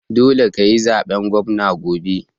Dole kayi zaben gwamna gobe